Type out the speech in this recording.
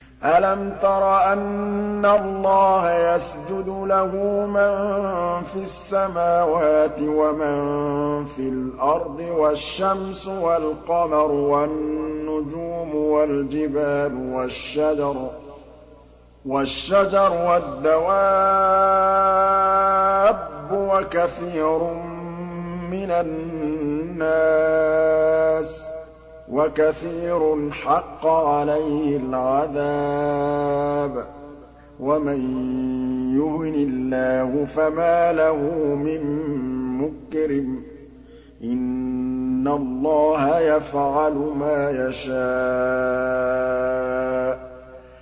أَلَمْ تَرَ أَنَّ اللَّهَ يَسْجُدُ لَهُ مَن فِي السَّمَاوَاتِ وَمَن فِي الْأَرْضِ وَالشَّمْسُ وَالْقَمَرُ وَالنُّجُومُ وَالْجِبَالُ وَالشَّجَرُ وَالدَّوَابُّ وَكَثِيرٌ مِّنَ النَّاسِ ۖ وَكَثِيرٌ حَقَّ عَلَيْهِ الْعَذَابُ ۗ وَمَن يُهِنِ اللَّهُ فَمَا لَهُ مِن مُّكْرِمٍ ۚ إِنَّ اللَّهَ يَفْعَلُ مَا يَشَاءُ ۩